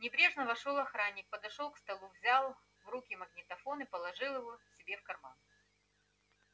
небрежно вошёл охранник подошёл к столу взял в руки магнитофон и положил его себе в карман